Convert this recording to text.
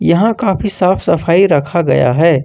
यहां काफी साफ सफाई रखा गया है।